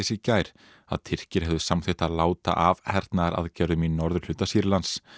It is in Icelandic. í gær að Tyrkir hefðu samþykkt að láta af hernaðaraðgerðum í norðurhluta Sýrlands